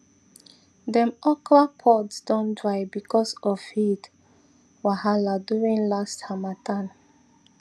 dem okra pods don dry because of heat wahala during last harmattan